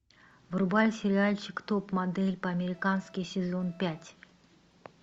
врубай сериальчик топ модель по американски сезон пять